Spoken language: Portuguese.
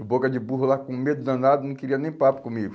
O boca de burro lá com medo danado não queria nem papo comigo.